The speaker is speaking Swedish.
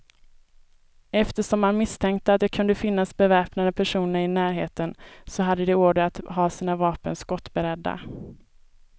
Eftersom man misstänkte att det kunde finnas beväpnade personer i närheten, så hade de order att ha sina vapen skottberedda.